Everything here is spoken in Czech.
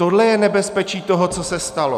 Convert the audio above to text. Tohle je nebezpečí toho, co se stalo.